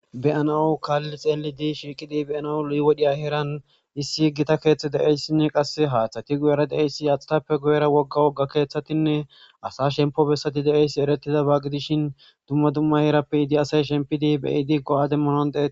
Beyanawu kaall xeeli di shiiqidi beyanawu 7wodhiya heeran issi yiggita keeththe deeyssinne qasse haaththati guyera deeyssi athtappe guyera wogga wogga keeththatinne asa shempo bessati de7eyssi eretida baaqi dishin dumma dumma hiirappe idi asay shempidi beyi diggo7a demmonon deei